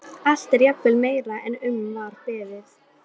Allt er jafnvel meira en um var beðið.